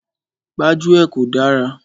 Gbájúẹ̀ kò dára.